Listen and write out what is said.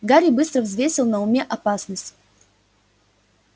гарри быстро взвесил на уме опасность